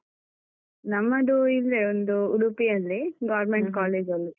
ನಮ್ಮದು ಇಲ್ಲೇ ಒಂದು ಉಡುಪಿಯಲ್ಲಿ, Government college ಅಲ್ಲಿ.